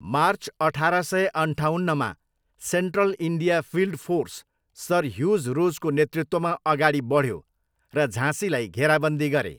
March अठार सय अन्ठाउन्नमा, Central India Field Force Sir Hugh रोजको नेतृत्वमा अगाडि बढ्यो र झाँसीलाई घेराबन्दी गरे।